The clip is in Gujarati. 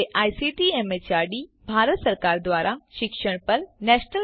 જે આઇસીટી એમએચઆરડી ભારત સરકાર દ્વારા શિક્ષણ પર નેશનલ મિશન દ્વારા આધારભૂત છે